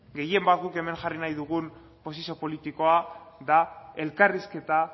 gehien bat guk hemen jarri nahi dugun posizio politikoa da elkarrizketa